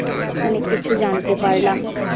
অনেক কিছু জানতে পারলাম।